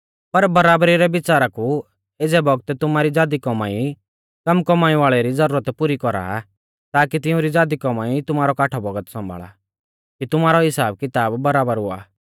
पर बराबरी रै बिच़ारा कु एज़ै बौगतै तुमारी ज़ादी कौमाई कम कौमाई वाल़ै री ज़रूरत पुरी कौरा ताकी तिउंरी ज़ादी कौमाई तुमारौ काठौ बौगत सौंभाल़ा कि तुमारौ हिसाब किताब बराबर हुआ